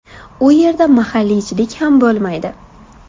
U yerda mahalliychilik ham bo‘lmaydi.